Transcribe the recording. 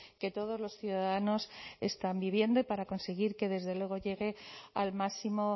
que todos los ciudadanos están viviendo y para conseguir que desde luego llegue al máximo